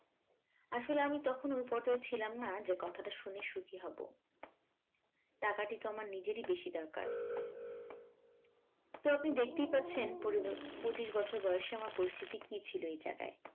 আসলে আমি তখন ওই পথেও ছিলাম না যে কথাটা শুনে সুখী হব টাকাটি তো আমার নিজেরই বেশি দরকার তো আপনি দেখতেই পাচ্ছেন পঁচিশ বছর বয়সে আমার পরিস্থিতি কী ছিল এই জায়গায়